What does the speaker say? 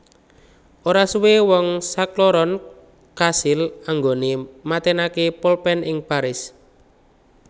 Ora suwe wong sakloron kasil anggone matenake polpen ing Paris